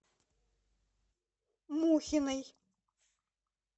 мухиной